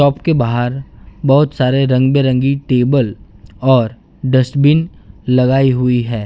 Up के बाहर बहोत सारे रंग बिरंगी टेबल और डस्टबिन लगाई हुई है।